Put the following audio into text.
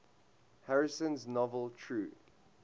harrison's novel true